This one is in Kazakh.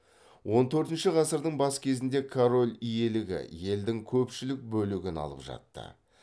он төртінші ғасырдың бас кезінде король иелігі елдің көпшілік бөлігін алып жатты